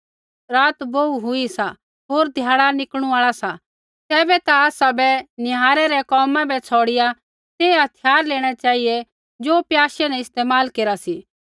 रात बोहू हुई सा होर ध्याड़ा निकलणु आल़ा सा तैबै ता आसै बै निहारै रै कोमा बै छ़ौड़िआ तै हथिय्यार लेणै चेहिऐ ज़ो प्याशै न इस्तेमाल केरा सी